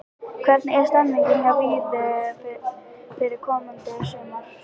Hvernig er stemningin hjá Víði fyrir komandi sumar?